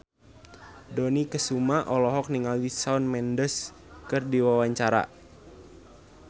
Dony Kesuma olohok ningali Shawn Mendes keur diwawancara